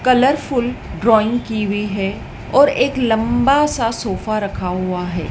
Colour full drawing की हुई हैं और एक लंबा सा सोफा रखा हुआ है।